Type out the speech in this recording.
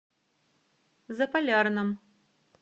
заполярном